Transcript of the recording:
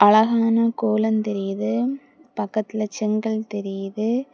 அழகான கோலோ தெரியுது பக்கத்துல செங்கல் தெரியுது.